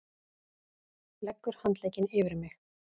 Leggur handlegginn yfir mig.